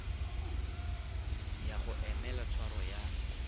ya go emela tshwaro ya